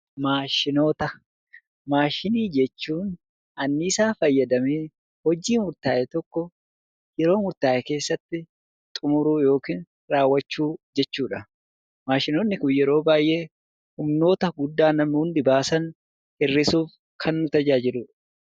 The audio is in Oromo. Maashinii jechuun anniisaa fayyadamee hojii murtaa'e tokko yeroo murtaa'e keessatti xumuruu yookiin raawwachuu jechuudha. Maashinoonni Kun yeroo baay'ee humnoota guddaa namoonni baasan hir'isuuf kan tajaajiludha.